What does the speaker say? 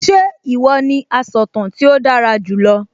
Ṣé ìwọ ní asọ̀tàn tí ó dára jù lọ?